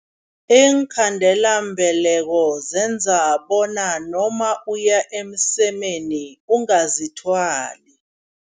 Iinkhandelambeleko zenza bona noma uya emsemeni ungazithwali.